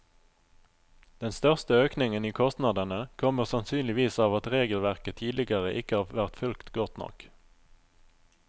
Den største økningen i kostnadene kommer sannsynligvis av at regelverket tidligere ikke har vært fulgt godt nok.